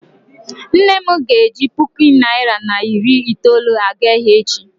nne m ga-eji puku naira na iri itoolu aga ahia echi